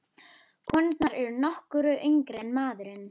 Konurnar eru nokkru yngri en maðurinn.